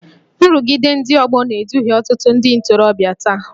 Nrụgide ndị ọgbọ na-eduhie ọtụtụ ndị ntorobịa taa